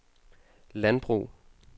landbrug